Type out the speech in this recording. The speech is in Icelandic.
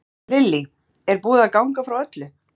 Lillý, er búið að ganga frá öllu?